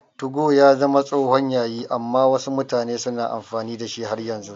2go ya zama tsohon yayi amma wasu mutane suna amfani da shi har yanzu.